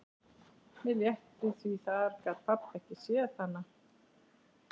Mér létti því þar gat pabbi ekki séð hana.